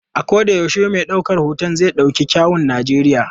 A koda yaushe mai daukar hoton zai dauki kyawun Najeriya.